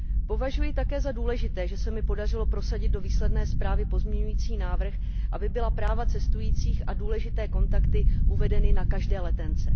Považuji také za důležité, že se mi podařilo prosadit do výsledné zprávy pozměňující návrh, aby byla práva cestujících a důležité kontakty uvedeny na každé letence.